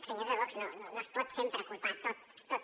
senyors de vox no es pot sempre culpar tot tot